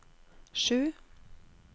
sju